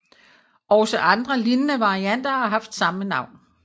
Også andre lignende varianter har haft samme navn